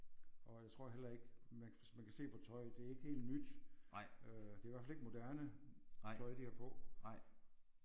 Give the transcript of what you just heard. Og jeg tror heller ikke man man kan se på tøjet det er ikke helt nyt øh. Det er i hvert fald ikke moderne tøj de har på